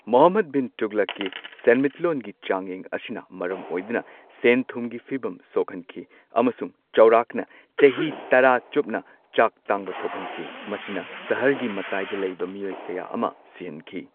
ꯃꯨꯍꯝꯃꯗ ꯕꯤꯟ ꯇꯨꯒꯂꯛꯀꯤ ꯁꯦꯟꯃꯤꯠꯂꯣꯟꯒꯤ ꯆꯥꯡꯌꯦꯡ ꯑꯁꯤꯅ ꯃꯔꯝ ꯑꯣꯏꯗꯨꯅ ꯁꯦꯟ ꯊꯨꯝꯒꯤ ꯐꯤꯚꯝ ꯁꯣꯛꯍꯟꯈꯤ꯫ ꯑꯃꯁꯨꯡ ꯆꯥꯎꯔꯥꯛꯅ ꯆꯍꯤ ꯇꯔꯥ ꯆꯨꯞꯅ ꯆꯥꯛ ꯇꯥꯡꯕ ꯊꯣꯛꯍꯟꯈꯤ꯫ ꯃꯁꯤꯅ ꯁꯍꯔꯒꯤ ꯃꯇꯥꯏꯗ ꯂꯩꯕ ꯃꯤꯑꯣꯏ ꯀꯌꯥ ꯑꯃ ꯁꯤꯍꯟꯈꯤ꯫